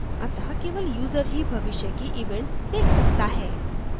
अत: केवल यूजर ही भविष्य की events देख सकता है